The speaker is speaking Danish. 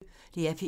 DR P1